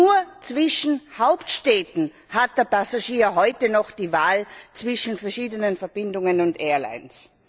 Nur zwischen Hauptstädten hat der Passagier heute noch die Wahl zwischen verschiedenen Verbindungen und Airlines.